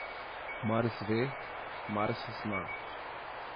Mars ve, Mars zna.